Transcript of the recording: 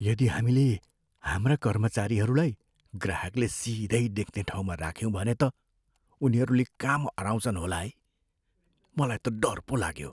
यदि हामीले हाम्रा कर्मचारीहरूलाई ग्राहकले सिधै देख्ने ठाउँमा राख्यौँ भने त उनीहरूले काम अह्राउँछन् होला है। मलाई त डर पो लाग्यो।